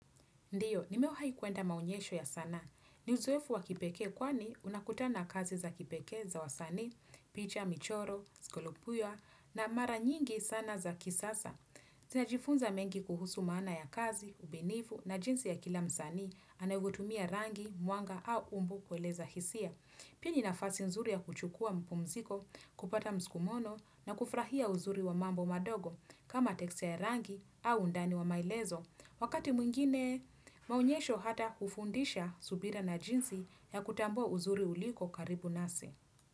Ndiyo, nimewahi kuenda maonyesho ya sanaa. Ni uzoefu wa kipekee kwani unakutana na kazi za kipekee, za wasanii, picha, michoro, skolupuya na mara nyingi sana za kisasa. Tunajifunza mengi kuhusu maana ya kazi, ubunifu na jinsi ya kila msanii anavyotumia rangi, mwanga au umbo kueleza hisia. Pina ni nafasi nzuri ya kuchukua mapumziko, kupata mskumono na kufurahia uzuri wa mambo madogo kama texture ya rangi au undani wa maelezo. Wakati mwingine, maonyesho hata hufundisha subira na jinsi ya kutambua uzuri uliko karibu nasi.